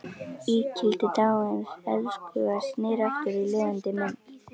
Ígildi dáins elskhuga sneri aftur í lifandi mynd.